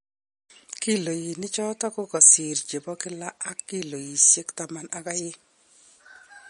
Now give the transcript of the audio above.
Kiloinik choton ko kasir chebo kila ak kiloiseik taman ak aeng.